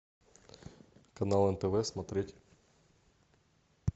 канал нтв смотреть